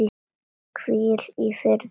Hvíl í friði elsku vinur.